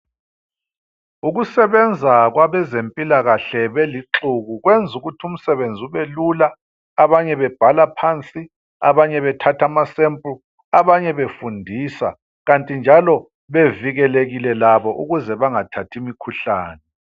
Ukusebenza kwabezempilakahle belixuku kwenza ukuthi umsebenzi ubelula. Abanye bebhala phansi ,abanye bethatha amasample ,abanye befundisa .Kanti njalo bevikelekile labo ukuze bengathathi imikhuhlane.